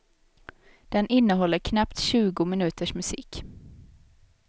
Den innehåller knappt tjugo minuters musik.